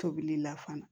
Tobili la fana